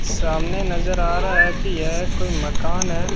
सामने नजर आ रहा है की यह कोई मकान है।